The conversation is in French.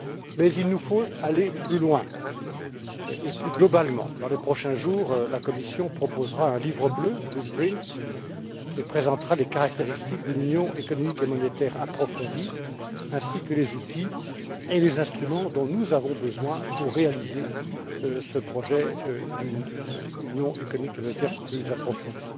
Mais il nous faut aller plus loin et agir plus globalement dans les prochains jours, la Commission proposera un Livre bleu et présentera les caractéristiques d'une union économique et monétaire approfondie ainsi que les outils et les instruments dont nous avons besoin pour réaliser ce projet d'une union économique et monétaire plus approfondie.